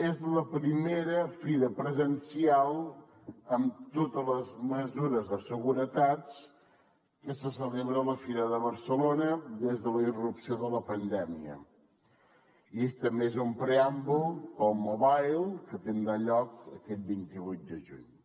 és la primera fira presencial amb totes les mesures de seguretat que se celebra a la fira de barcelona des de la irrupció de la pandèmia i també és un preàmbul pel mobile que tindrà lloc aquest vint vuit de juny